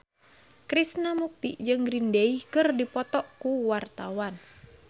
Krishna Mukti jeung Green Day keur dipoto ku wartawan